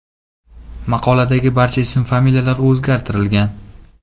Maqoladagi barcha ism-familiyalar o‘zgartirilgan.